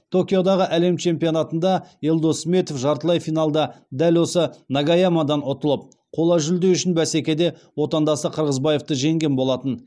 токиодағы әлем чемпионатында елдос сметов жартылай финалда дәл осы нагаямадан ұтылып қола жүлде үшін бәсекеде отандасы қырғызбаевты жеңген болатын